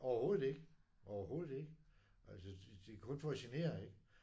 Overhovedet ikke overhovedet ikke altså det er kun for at genere ikke